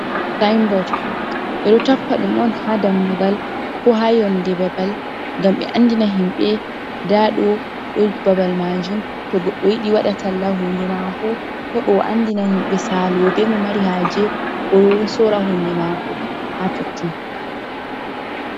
Sinbort ɓe ɗo tappa ɗum on ha dammugal, ko ha yonde babal, ngam ɓe andina himɓɓe nda ɗo, ɗo babal majum to goɗɗo yiɗi waɗa taalla hunde mako heɓa o andina himɓɓe Salo ɓe, mo mari haje oɗo sora hunde mako ha totton.